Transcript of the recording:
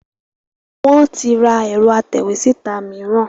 Wọn tí ra ẹ̀rọ atẹ̀wé-síta mìíràn